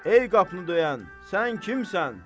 Ey qapını döyən, sən kimsən?